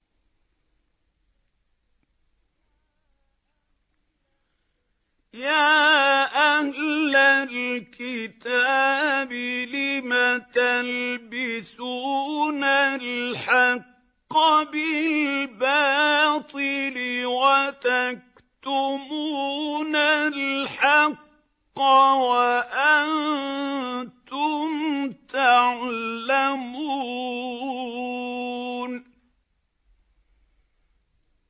يَا أَهْلَ الْكِتَابِ لِمَ تَلْبِسُونَ الْحَقَّ بِالْبَاطِلِ وَتَكْتُمُونَ الْحَقَّ وَأَنتُمْ تَعْلَمُونَ